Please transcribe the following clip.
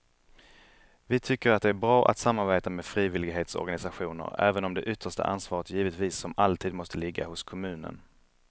Vi tycker att det är bra att samarbeta med frivillighetsorganisationer även om det yttersta ansvaret givetvis som alltid måste ligga hos kommunen.